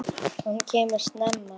Hann kemur snemma.